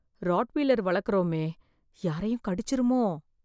Rottweiler வளர்க்குறோமோ யாரையும் கடிச்சிருமோ?